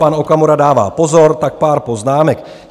Pan Okamura dává pozor, tak pár poznámek.